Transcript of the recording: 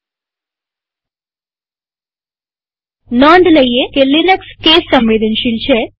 નોંધ રાખો કે લિનક્સ અક્ષર પ્રકારસાદા કે કેપિટલને સંવેદનશીલ છે